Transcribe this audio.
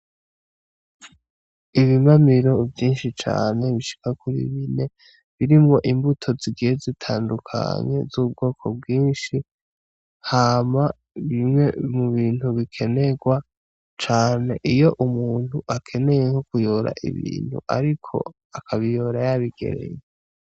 Ibimamiro vyinshi cane bishika kuri bine birimwo imbuto zigiye zitandukanye z'ubwoko bwinshi, hama ni bimwe mu bintu bikenerwa cane iyo umuntu akeneye kuyora ibintu ariko akabiyora yabigereye.